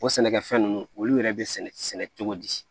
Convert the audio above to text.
O sɛnɛkɛfɛn ninnu olu yɛrɛ bɛ sɛnɛ cogo di